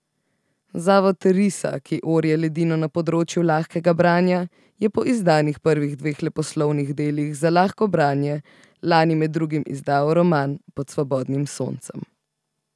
Zavod Risa, ki orje ledino na področju lahkega branja, je po izdanih prvih dveh leposlovnih delih za lahko branje lani med drugim izdal roman Pod svobodnim soncem.